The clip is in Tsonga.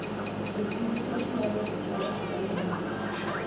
ku twisisa swilaveko swa xitsalwambiko